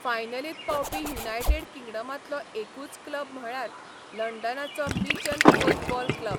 फायनलींत पावपी युनायटेड किंगडमांतलो एकूच क्लब म्हळ्यार लंडनाचो मिचम कोर्फबॉल क्लब.